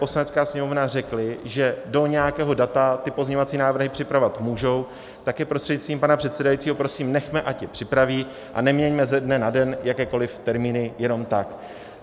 Poslanecká sněmovna řekli, že do nějakého data ty pozměňovací návrhy připravovat můžou, tak je prostřednictvím pana předsedajícího prosím nechme, ať je připraví, a neměňme ze dne na den jakékoliv termíny jenom tak.